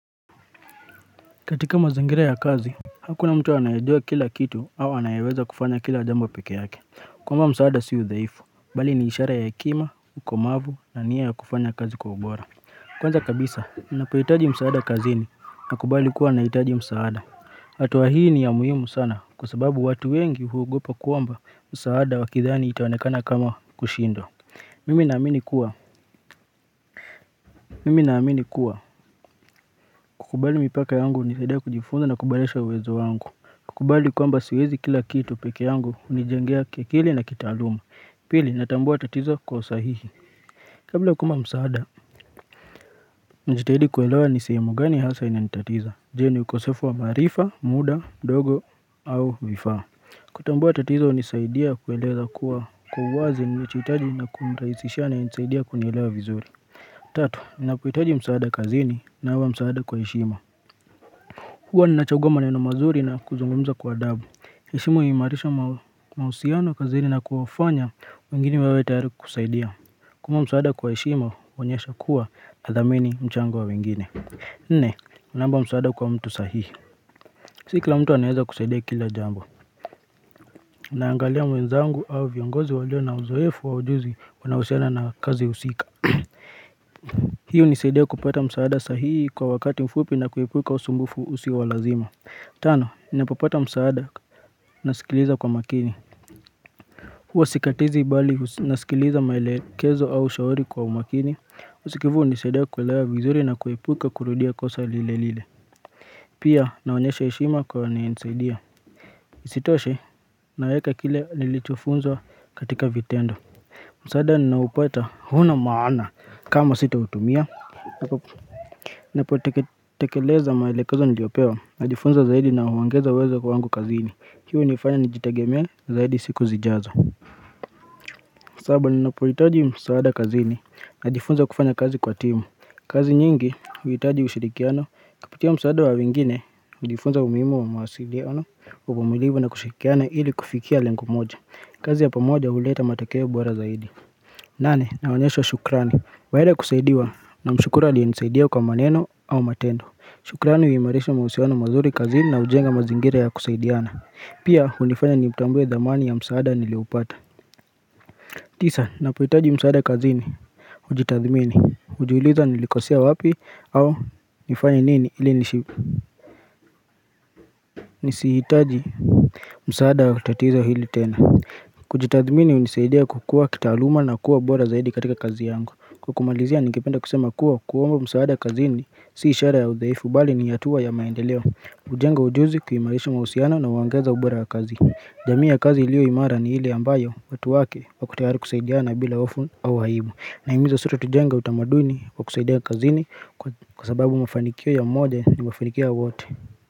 Katika mazangira ya kazi, hakuna mtu anayejua kila kitu au anayeweza kufanya kila jambo peke yake. Kuomba msaada si udhaifu, bali ni ishara ya hekima, ukomavu na nia ya kufanya kazi kwa ubora. Kwanza kabisa, ninapoitaji msaada kazini, nakubali kuwa nahitaji msaada. Hatua hii ni ya muhimu sana, kwa sababu watu wengi huogopa kuomba msaada wakidhani itaonekana kama kushindwa. Mimi naamini kuwa, mimi naamini kuwa, kukubali mipaka yangu unisaidia kujifunza na kuburesha uwezo wangu. Kukubali kwamba siwezi kila kitu peke yangu unijengea kiakili na kitaaluma. Pili natambua tatizo kwa usahihi. Kabla kuomba msaada, njitahidi kuelewa ni sehemu gani hasa inanitatiza. Je ni ukosefu wa maarifa, muda, mdogo au vifaa. Kutambua tatizo unisaidia kueleza kuwa kwa wazi nilichoitaji na kumrahisishia anaye nisaidia kunielewa vizuri. Tatu, nina poitaji msaada kazini naomba msaada kwa heshima. Hua ninachagua maneno mazuri na kuzungumza kwa adhabu. Heshimu imaarisha mahusiano kazini na kuwafanya wengine wawe tayari kusaidia. Kuomba msaada kwa heshima, huonyesha kuwa nathamini mchango wa wengine. Nne, unaomba msaada kwa mtu sahihi. Si kila mtu anaeza kusaidia kila jambo. Unaangalia mwenzangu au viongozi walio na uzoefu wa ujuzi wanahusihiana na kazi usika. Hii unisaidia kupata msaada sahihi kwa wakati mfupi na kuepuka usumbufu usio wa lazima. Tano, ninapopata msaada, nasikiliza kwa makini huwa sikatizi bali, nasikiliza maelekezo au shauri kwua makini usikivu, unisaidia kuelewa vizuri na kuepuka kurudia kosa lile lile Pia, naonyesha heshima kwa anaenisaidia Isitoshe, naweka kile nilichofunzwa katika vitendo msaada, ninaopata, huna maana, kama sitautumia Napo, tekeleza maelekezo niliopewa, najifunza zaidi na huongeza uwezo kwa wangu kazini Hii unifanya nijitegeme zaidi siku zijazo sababu ninapoitaji msaada kazini na jifunza kufanya kazi kwa timu kazi nyingi huitaji ushirikiano Kupitia msaada wa wengine hujifunza umuimu wa mawasiliano Uvumulivu na kushirikiana ili kufikia lengo moja kazi ya pamoja huleta matokeo bora zaidi nane na waonyesha shukrani baada ya kusaidiwa na mshukuru alienisaidia kwa maneno au matendo shukrani huimarisha mahusiano mazuri kazini na ujenga mazingira ya kusaidiana Pia unifanya nimutambue dhamani ya msaada nilioupata tisa, napoitaji msaada kazini Ujitathmini, ujiuliza nilikosea wapi au nifanye nini ili nishipa Nisihitaji msaada wa tatizo hili tena Kujitathmini unisaidea kukua kitaaluma na kuwa bora zaidi katika kazi yangu Kwa kumalizia ningependa kusema kuwa kuomba msaada kazini Si ishara ya udhaifu bali ni hatua ya maendeleo ujenga ujuzi kuhimarisha mahusiano na uongeza ubora wa kazi jamii ya kazi ilio imara ni ile ambayo watu wake wako tayari kusaidiana bila hofu au aibu Nahimiza sote tujenge utamaduni wa kusaidia kazini kwa sababu mafanikio ya mmoja ni mafanikio ya wote.